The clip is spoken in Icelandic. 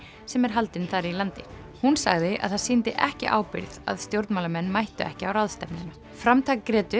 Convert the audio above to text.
sem er haldin þar í landi hún sagði að það sýndi ekki ábyrgð að stjórnmálamenn mættu ekki á ráðstefnuna framtak